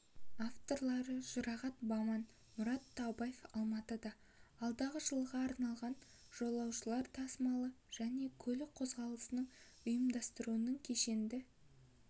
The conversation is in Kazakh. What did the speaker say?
авторлары жұрағат баман марат таубаев алматыда алдағы жылға арналған жолаушылар тасымалы және көлік қөзғалысын ұйымдастырудың кешенді